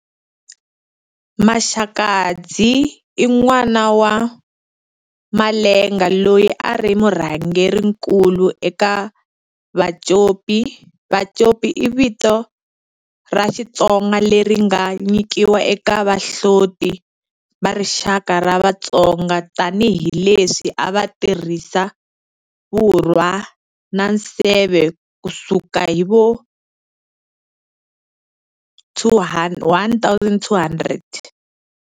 Maxakadzi i n'wana wa Malenga loyi a ri murhangerinkulu eka Vacopi, vacopi i vito ra Xitsonga leri nga nyikiwa eka vahloti va rixaka ra Vatsonga tani hi leswi a va tirhisa vurwa na nseve ku suka hi vo 1200.